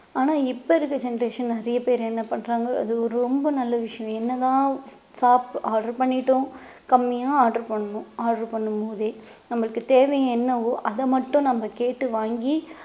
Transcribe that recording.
ஆனா இப்ப இருக்கற generation நிறைய பேர் என்ன பண்றாங்க அது ரொம்ப நல்ல விஷயம் என்னதான் சாப்~ order பண்ணிட்டோம் கம்மியா order பண்ணனும் order பண்ணும் போதே நம்மளுக்கு தேவை என்னவோ அதை மட்டும் நம்ம கேட்டு வாங்கி